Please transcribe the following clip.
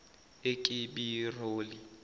ekibiroli